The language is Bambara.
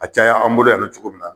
A caya an bolo yan dɔ cogo min na